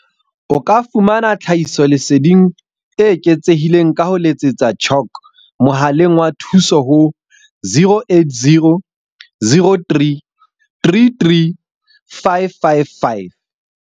O ka fumana tlhahiso leseding e eketsehileng ka ho letsetsa CHOC mohaleng wa thuso ho 0800 333 555.